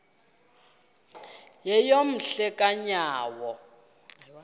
yeyom hle kanyawo